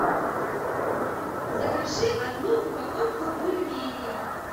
закажи одну упаковку бульменей